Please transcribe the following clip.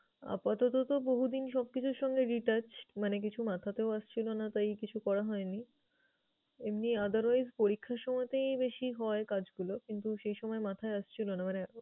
আপাতত তো বহুদিন সবকিছুর সঙ্গে detached মানে কিছু মাথাতেও আসছিলো না তাই কিছু করা হয় নি। এমনি otherwise পরীক্ষার সময়তেই বেশী হয় কাজগুলোয় কিন্তু সে সময় মাথায় আসছিলো না মানে